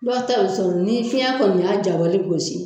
Dɔw ta bɛ sɔrɔ ni fiyɛn kɔni y'a jabali gosi